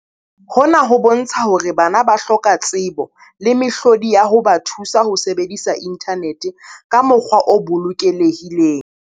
Hona ho bontsha hore bana ba hloka tsebo le mehlodi ya ho ba thusa ho sebedisa inthanete ka mokgwa o bolokelehileng.